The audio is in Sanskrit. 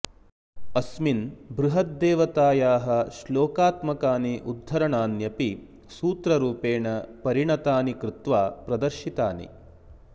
अस्मिन् बृहद्देवतायाः श्लोकात्मकानि उद्धरणान्यपि सूत्ररूपेण परिणतानि कृत्वा प्रदर्शितानि